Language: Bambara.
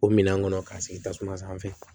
O minɛn kɔnɔ k'a sigi tasuma sanfɛ